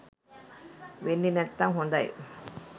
වෙන්නෙ නැත්නම් හොඳයි.